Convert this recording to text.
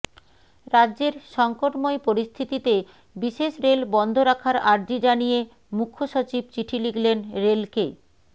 রাজ্যের সংকটময় পরিস্থিতিতে বিশেষ রেল বন্ধ রাখার আর্জি জানিয়ে মুখ্যসচীব চিঠি লিখলেন রেলকে